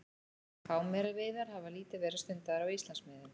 Hámeraveiðar hafa lítið verið stundaðar á Íslandsmiðum.